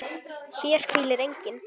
HÉR HVÍLIR ENGINN